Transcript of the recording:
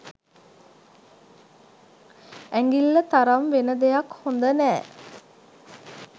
ඇඟිල්ල තරම් වෙන දෙයක් හොඳ නෑ.